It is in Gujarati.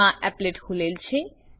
મા એપ્લેટ ખૂલેલ છે